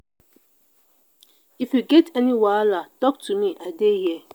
if you get any wahala talk to me i dey here.